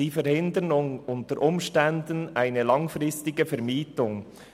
Sie verhindern unter Umständen eine langfristige Vermietung.